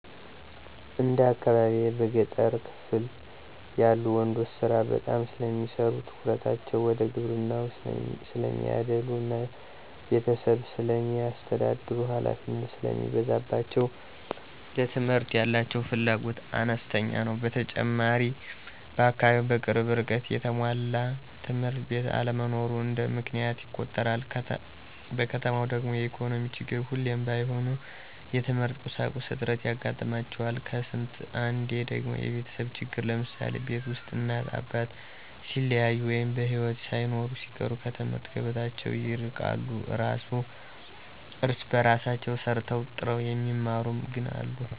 እንደ አካባቢየ በገጠሩ ክፍል ያሉ ወንዶች ስራ በጣም ስለሚሰሩ ትኩረታቸው ወደ ግብርናው ስለሚያዳሉ እና ቤተሰብ ስለሚያስተዳድሩ ሀላፊነት ስለሚበዛባቸው ለትምህርት ያላቸው ፍላጎት አነስተኛ ነው። በተጨማሪም በአካባቢው በቅርብ ርቀት የተሟላ ትምህርት ቤት አለመኖርም እንደ ምክንያት ይቆጠራል። በከተማው ደግሞ የኢኮኖሚ ችግር ሁሉም ባይሆኑ የትምህርት ቁሳቁስ እጥረት ያጋጥማቸዋል ከስንት አንዴ ደግሞ የቤተሰብ ችግር ለምሳሌ፦ ቤት ውስጥ እናት አባት ሲለያዩ ወይ በሒወት ሳይኖሩ ሲቀር ከትምህርት ገበታቸው ይርቃሉ። እራስ በራሳቸው ሰርተው ጥረው የሚማሩም ግን አሉ።